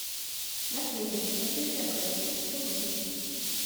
наследие застывшая кровь хочу увидеть